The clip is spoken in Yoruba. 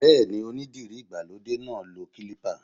Bẹ́ẹ̀ni, onídìrí ìgbàlódé náà lo kílípà